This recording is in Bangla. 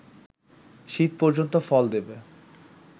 শীত পর্যন্ত ফল দেবে